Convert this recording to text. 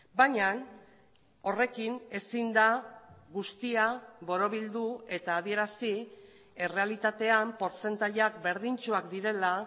baina horrekin ezin da guztia borobildu eta adierazi errealitatean portzentaiak berdintsuak direla